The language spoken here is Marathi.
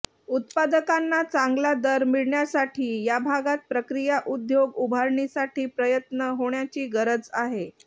उत्पादकांना चांगला दर मिळण्यासाठी या भागात प्रक्रिया उद्योग उभारणीसाठी प्रयत्न होण्याची गरज आहे